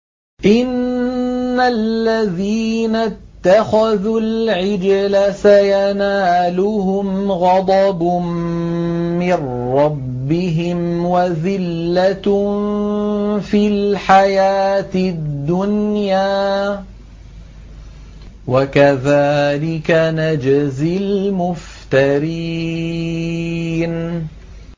إِنَّ الَّذِينَ اتَّخَذُوا الْعِجْلَ سَيَنَالُهُمْ غَضَبٌ مِّن رَّبِّهِمْ وَذِلَّةٌ فِي الْحَيَاةِ الدُّنْيَا ۚ وَكَذَٰلِكَ نَجْزِي الْمُفْتَرِينَ